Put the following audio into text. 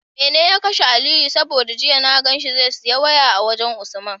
Mene ya kashe aliyu? saboda jiya na ganshi zai siya waya a wajan usman